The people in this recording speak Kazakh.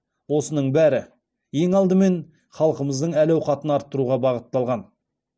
осының бәрі ең алдымен халқымыздың әл ауқатын арттыруға бағытталған